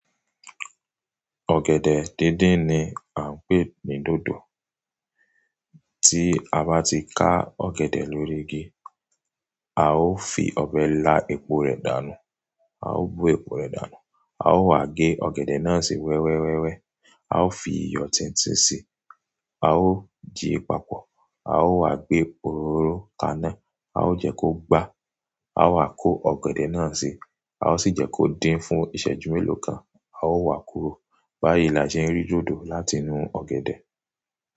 Ọ̀gẹ̀dẹ̀ díndín ni à ń pè ní dódò. Tí a bá ti ká ọ̀gẹ̀dẹ̀ lórí igi, a ó fi ọ̀bẹ lá epo rẹ̀ dànù, a ó bo epo rẹ̀ dànù, a ó wá gẹ ọ̀gẹ̀dẹ̀ náà sí wẹ́wẹ́ wẹ́wẹ́, a ó fi iyọ̀ tíntín si, a ó di papọ̀, a ó wá gbe ororo kaná, a ó jẹ́ kó gbá, a wa kó ọ̀gẹ̀dẹ̀ náà síi, a ó sì jẹ́ kó dín fún ìṣẹ́jú mélòó kan, a ó wá kúrò. Báyìí la ṣe ń rí dódò láti inú ọ̀gẹ̀dẹ̀